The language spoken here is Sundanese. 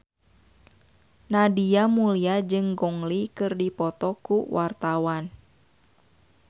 Nadia Mulya jeung Gong Li keur dipoto ku wartawan